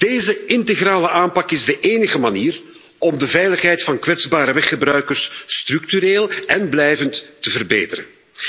Deze integrale aanpak is de enige manier om de veiligheid van kwetsbare weggebruikers structureel en blijvend te verbeteren.